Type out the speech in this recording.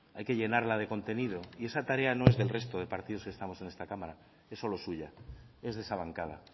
hay que llenarla de contenido y esa tarea no es del resto de partidos que estamos en esta cámara es solo suya es de esa bancada